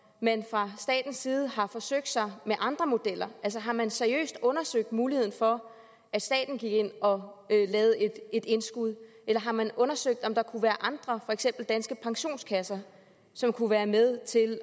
man fra statens side har forsøgt sig med andre modeller altså har man seriøst undersøgt muligheden for at staten gik ind og lavede et indskud eller har man undersøgt om der kunne være andre for eksempel danske pensionskasser som kunne være med til